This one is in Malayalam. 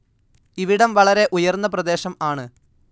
ഇവിടം വളരെ ഉയർന്ന പ്രദേശം ആണ്.